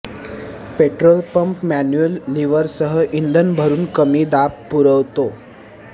petrol pump manual लीव्हरसह इंधन भरून कमी दाब पुरवतो